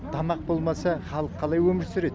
тамақ болмаса халық қалай өмір сүреді